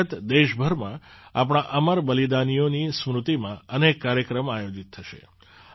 તે અંતર્ગત દેશભરમાં આપણા અમર બલિદાનીઓની સ્મૃતિમાં અનેક કાર્યક્રમ આયોજિત થશે